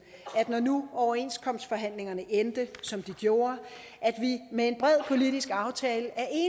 når nu overenskomstforhandlingerne endte som de gjorde at vi med en bred politisk aftale